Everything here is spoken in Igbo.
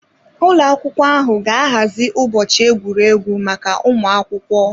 Ụlọ akwụkwọ ahụ ga-ahazi ụbọchị egwuregwu maka ụmụ akwụkwọ.